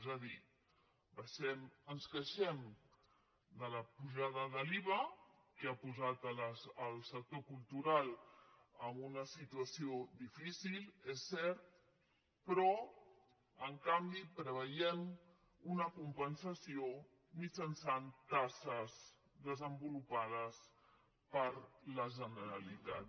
és a dir ens queixem de la pujada de l’iva que ha posat el sector cultural amb una situació difícil és cert però en canvi preveiem una compensació mitjançant taxes desenvolupades per la generalitat